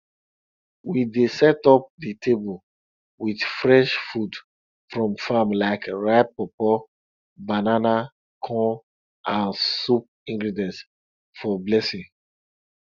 we dey set up di table wit fresh food from farm like ripe pawpaw banana corn and soup ingredients for blessing